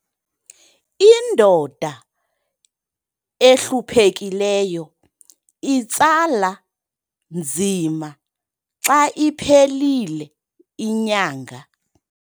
indoda ehluphekileyo itsala nzima xa iphelile inyanga